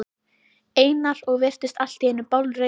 Einar og virtist allt í einu bálreiður.